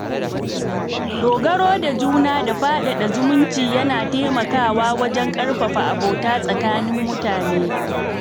Dogaro da juna da faɗaɗa zumunci yana taimakawa wajen ƙarfafa abota tsakanin mutane.